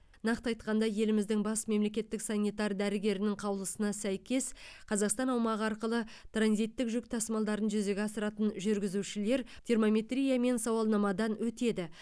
нақты айтқанда еліміздің бас мемлекеттік санитар дәрігерінің қалуысына сәйкес қазақстан аумағы арқылы транзиттік жүк тасымалдарын жүзеге асыратын жүргізушілер термометрия мен сауалнамадан өтеді